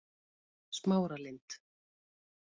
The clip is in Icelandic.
Smáralind